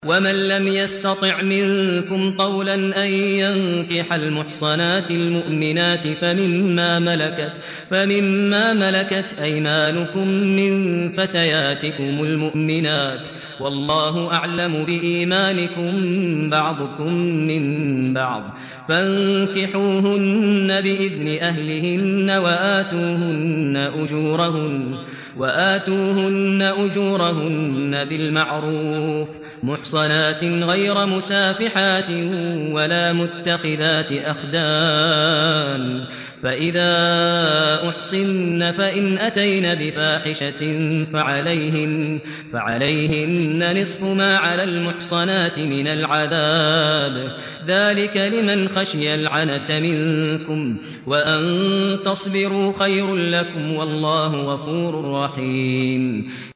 وَمَن لَّمْ يَسْتَطِعْ مِنكُمْ طَوْلًا أَن يَنكِحَ الْمُحْصَنَاتِ الْمُؤْمِنَاتِ فَمِن مَّا مَلَكَتْ أَيْمَانُكُم مِّن فَتَيَاتِكُمُ الْمُؤْمِنَاتِ ۚ وَاللَّهُ أَعْلَمُ بِإِيمَانِكُم ۚ بَعْضُكُم مِّن بَعْضٍ ۚ فَانكِحُوهُنَّ بِإِذْنِ أَهْلِهِنَّ وَآتُوهُنَّ أُجُورَهُنَّ بِالْمَعْرُوفِ مُحْصَنَاتٍ غَيْرَ مُسَافِحَاتٍ وَلَا مُتَّخِذَاتِ أَخْدَانٍ ۚ فَإِذَا أُحْصِنَّ فَإِنْ أَتَيْنَ بِفَاحِشَةٍ فَعَلَيْهِنَّ نِصْفُ مَا عَلَى الْمُحْصَنَاتِ مِنَ الْعَذَابِ ۚ ذَٰلِكَ لِمَنْ خَشِيَ الْعَنَتَ مِنكُمْ ۚ وَأَن تَصْبِرُوا خَيْرٌ لَّكُمْ ۗ وَاللَّهُ غَفُورٌ رَّحِيمٌ